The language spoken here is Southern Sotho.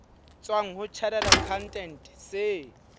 tswang ho chartered accountant se